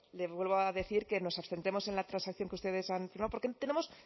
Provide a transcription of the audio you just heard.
le vuelvo a decir que nos abstendremos en la transacción que ustedes han firmado porque tenemos